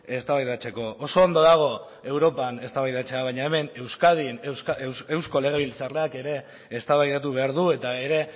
eztabaidatzeko oso ondo dago europan eztabaidatzea baina hemen euskadin eusko legebiltzarrak ere eztabaidatu behar du eta ere